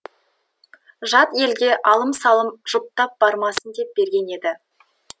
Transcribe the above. жат елге алым салым жұтап бармасын деп берген еді